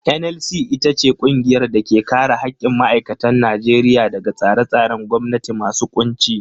NLC ita ce ƙungiyar da ke kare haƙƙin ma'aikatan Najeriya daga tsare-tsaren gwamnati masu ƙunci.